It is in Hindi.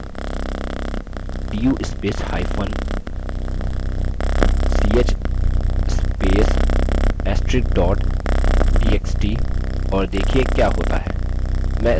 du spacehyphen ch space * astrix dot txt और देखिये क्या होता है